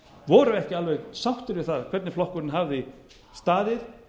voru ekki alveg sáttir við það hvernig flokkurinn hafði staðið